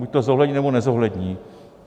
Buď to zohlední, nebo nezohlední.